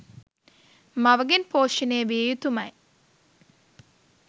මවගෙන් පෝෂණය විය යුතුමයි.